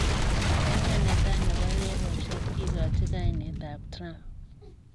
Aina ne tai ne bo reresiet kikochi kainetab Trump.